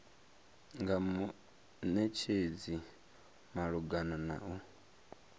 nga munetshedzi malugana na u